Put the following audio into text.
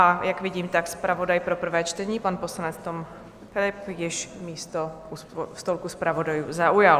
A jak vidím, tak zpravodaj pro prvé čtení, pan poslanec Tom Philipp, již místo u stolku zpravodajů zaujal.